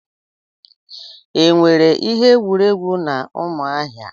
Enwere ihe egwuregwu na Umuahia?